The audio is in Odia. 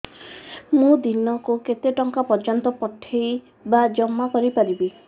ମୁ ଦିନକୁ କେତେ ଟଙ୍କା ପର୍ଯ୍ୟନ୍ତ ପଠେଇ ବା ଜମା କରି ପାରିବି